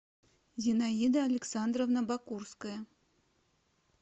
зинаида александровна бакурская